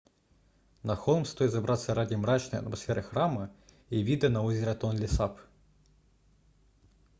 на холм стоит забраться ради мрачной атмосферы храма и вида на озеро тонлесап